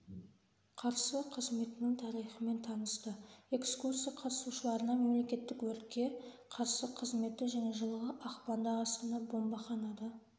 қарсы қызметінің тарихымен танысты экскурсия қатысушыларына мемлекеттік өртке қарсы қызметі және жылғы ақпанда астана бомбаханада